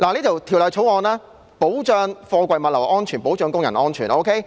《條例草案》保障貨櫃物流安全、保障工人安全。